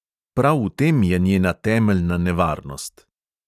Prav v tem je njena temeljna nevarnost.